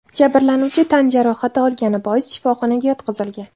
Jabrlanuvchi tan jarohati olgani bois shifoxonaga yotqizilgan.